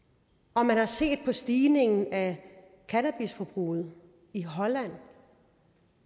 og man har set en stigning af cannabisforbruget i holland